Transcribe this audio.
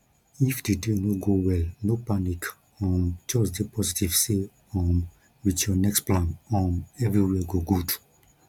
if di day no go well no panic um just dey positive sey um with your next plan um everywhere go good